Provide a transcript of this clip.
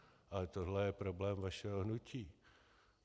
Ale tohle je problém vašeho hnutí.